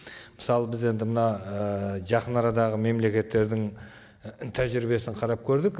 мысалы біз енді мына ыыы жақын арадағы мемлекеттердің тәжірибесін қарап көрдік